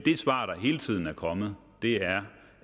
svar der hele tiden er kommet er